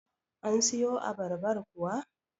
an siyo abarbar kuwa?